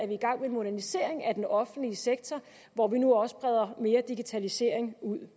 i gang med en modernisering af den offentlige sektor hvor vi nu også breder mere digitalisering ud